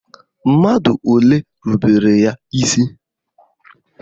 Mmadụ ole rubere ya isi?